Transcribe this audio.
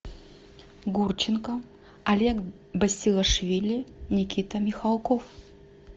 гурченко олег басилашвили никита михалков